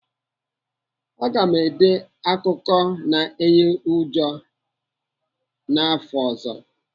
Aga m ede akụkọ na-eyi ụjọ n'afọ ọzọ.